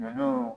Ɲɔ